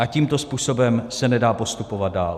A tímto způsobem se nedá postupovat dál.